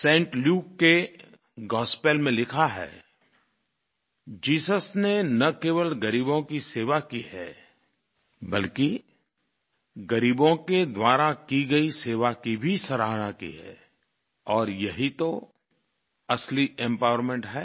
Saint Luke के gospel में लिखा है जीसस ने न केवल गरीबों की सेवा की है बल्कि गरीबों के द्वारा की गयी सेवा की भी सराहना की है और यही तो असली एम्पावरमेंट है